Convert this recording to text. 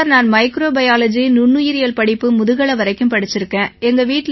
sir நான் microbiology நுண்ணுயிரியல் படிப்பு முதுகலை வரைக்கும் படிச்சிருக்கேன்